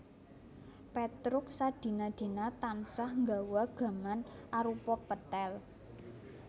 Pétruk sadina dina tansah nggawa gaman arupa pethèl